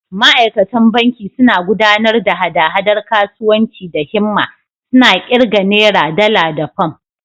Ma’aikatan banki suna gudanar da hada-hadar kasuwanci da himma, suna ƙirga Nera, Dala, da Fam.